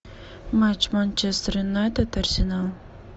матч манчестер юнайтед арсенал